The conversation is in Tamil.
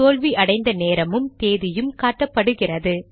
தோல்வி அடைந்த நேரமும் தேதியும் காட்டப்படுகிறது